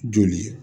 Joli